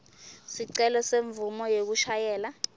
sicelo semvumo yekushayela